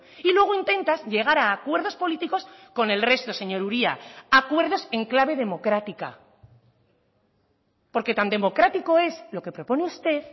y luego intentas llegar a acuerdos políticos con el resto señor uria acuerdos en clave democrática porque tan democrático es lo que propone usted